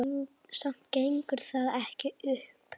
Samt gengur það ekki upp.